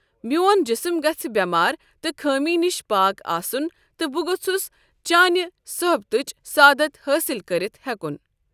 میون جسم گژھہِ بیمارِ تہٕ خٲمی نِش پاک آسن تہٕ بہٕ گوژھس چانہِ صحبتٕچ سعادت حٲصل کٔرتھ ہیکن۔